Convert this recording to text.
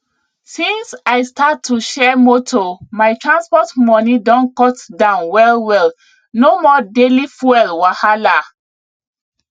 since i start to share moto my transport money don cut down well well no more daily fuel wahala